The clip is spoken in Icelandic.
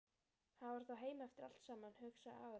Hann var þá heima eftir allt saman, hugsaði Aðalsteinn.